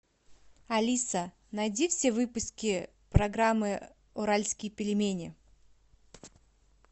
алиса найди все выпуски программы уральские пельмени